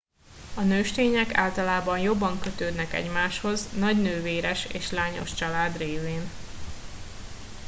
a nőstények általában jobban kötődnek egymáshoz nagy nővéres és lányos család lévén